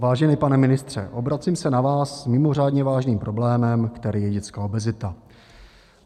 Vážený pane ministře, obracím se na vás s mimořádně vážným problémem, kterým je dětská obezita.